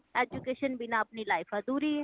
education ਬਿਨਾ ਅਪਣੀ life ਅਧੂਰੀ ਏ